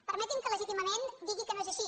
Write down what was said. permeti’m que legítimament digui que no és així